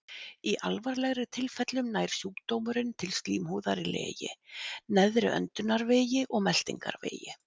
Í alvarlegri tilfellum nær sjúkdómurinn til slímhúðar í legi, neðri öndunarvegi og meltingarvegi.